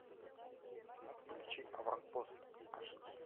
включи аванпост аш ди